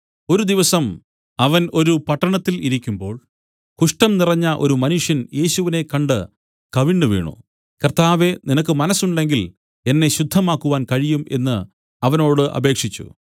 ഒരു ദിവസം അവൻ ഒരു പട്ടണത്തിൽ ഇരിക്കുമ്പോൾ കുഷ്ഠം നിറഞ്ഞ ഒരു മനുഷ്യൻ യേശുവിനെ കണ്ട് കവിണ്ണുവീണു കർത്താവേ നിനക്ക് മനസ്സുണ്ടെങ്കിൽ എന്നെ ശുദ്ധമാക്കുവാൻ കഴിയും എന്നു അവനോട് അപേക്ഷിച്ചു